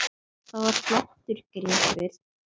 Það var flottur gripur.